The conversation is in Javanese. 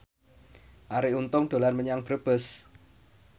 Arie Untung dolan menyang Brebes